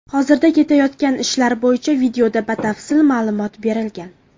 Hozirda ketayotgan ishlar bo‘yicha videoda batafsil ma’lumot berilgan.